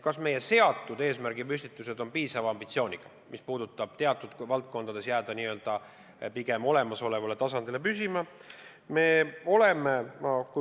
Kas meie eesmärgipüstitused ikka on piisavalt ambitsioonikad, ega me ei jää teatud valdkondades pigem olemasolevale tasandile püsima?